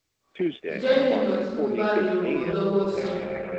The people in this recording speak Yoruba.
Jẹ́ kí n mọ̀ tí mo bá lè ràn ọ́ lọ́wọ́ si